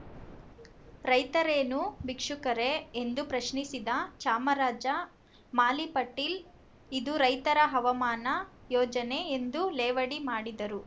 ರೈತರೇನೂ ಭಿಕ್ಷುಕರೇ ಎಂದು ಪ್ರಶ್ನಿಸಿದ ಚಾಮರಜ ಮಾಲಿಪಾಟೀಲ್‌ ಇದು ರೈತರ ಅವಮಾನ ಯೋಜನೆ ಎಂದು ಲೇವಡಿ ಮಾಡಿದರು